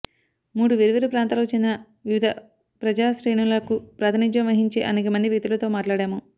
మూడు వేర్వేరు ప్రాంతాలకు చెందిన వివిధ ప్రజాశ్రేణులకు ప్రాతినిధ్యం వహించే అనేక మంది వ్యక్తులతో మాట్లాడాము